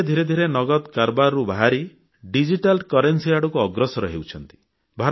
ଲୋକେ ଧୀରେ ଧୀରେ ନଗଦ କାରବାରରୁ ବାହାରି ଡିଜିଟାଲ ମୁଦ୍ରା ଆଡ଼କୁ ଅଗ୍ରସର ହେଉଛନ୍ତି